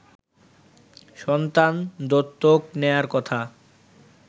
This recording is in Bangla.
সন্তান দত্তক নেয়ার কথা